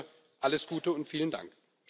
Dafür alles Gute und vielen Dank!